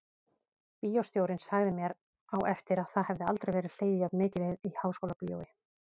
Bíóstjórinn sagði mér á eftir að það hefði aldrei verið hlegið jafn mikið í Háskólabíói.